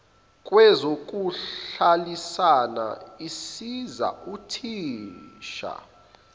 kwezokuhlalisana isiza uthisha